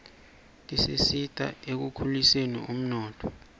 tisita ekukhuliseni umnotfo